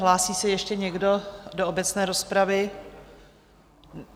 Hlásí se ještě někdo do obecné rozpravy?